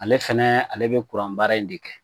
Ale fana ale bɛ kuranbaara in de kɛ